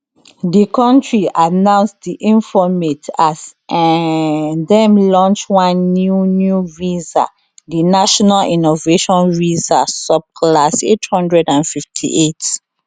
di kontri announce dis informate as um dem launch one new new visa di national innovation visa subclass 858